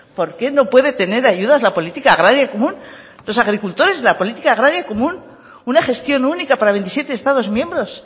por qué no puede tener ayudas la política agraria y común los agricultores de la política agraria y común una gestión única para veintisiete estados miembros